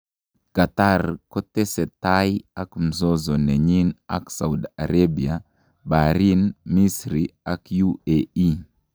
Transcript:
Qatar kotese tai ak mzozo nenyi ak Saudi Arabia, Bahrain, Misri ak UAE.